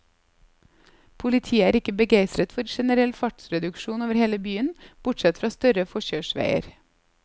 Politiet er ikke begeistret for generell fartsreduksjon over hele byen, bortsett fra større forkjørsveier.